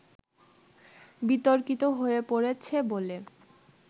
বিতর্কিত হয়ে পড়েছে বলে